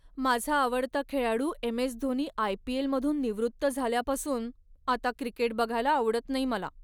माझा आवडता खेळाडू एम. एस. धोनी आय.पी.एल.मधून निवृत्त झाल्यापासून, आता क्रिकेट बघायला आवडत नाही मला.